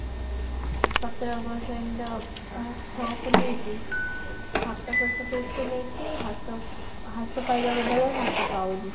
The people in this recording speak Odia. ସତର percent ଅ ଆଉ ଛଅ କୁ ନେଇକି ସାତ percent କୁ ନେଇକି ହ୍ରାସ ହ୍ରାସ ପାଇବା ବଦଳରେ ହ୍ରାସ ପାଉନି